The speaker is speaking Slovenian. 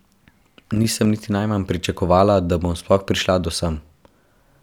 Nisem niti najmanj pričakovala, da bom sploh prišla do sem.